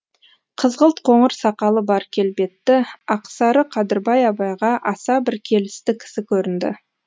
қызғылт қоңыр сақалы бар келбетті ақсары қадырбай абайға аса бір келісті кісі көрінді